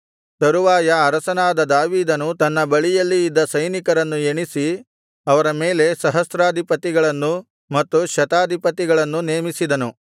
ತರುವಾಯ ಅರಸನಾದ ದಾವೀದನು ತನ್ನ ಬಳಿಯಲ್ಲಿ ಇದ್ದ ಸೈನಿಕರನ್ನು ಎಣಿಸಿ ಅವರ ಮೇಲೆ ಸಹಸ್ರಾಧಿಪತಿಗಳನ್ನೂ ಮತ್ತು ಶತಾಧಿಪತಿಗಳನ್ನು ನೇಮಿಸಿದನು